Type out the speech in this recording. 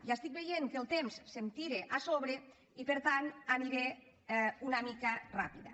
i estic veient que el temps se’m tira a sobre i per tant aniré una mica ràpida